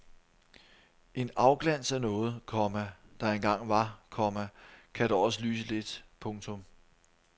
En afglans af noget, komma der engang var, komma kan da også lyse lidt. punktum